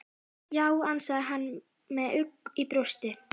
Já, ansaði hann með ugg í brjósti.